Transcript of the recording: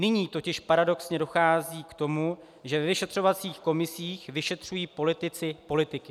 Nyní totiž paradoxně dochází k tomu, že ve vyšetřovacích komisích vyšetřují politici politiky.